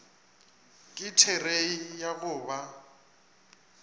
ke therei ya go ba